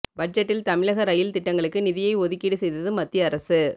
பட்ஜெட்டில் தமிழக ரயில் திட்டங்களுக்கு நிதியை ஒதுக்கீடு செய்தது மத்திய அரசு